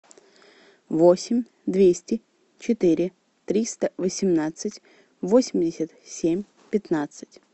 восемь двести четыре триста восемнадцать восемьдесят семь пятнадцать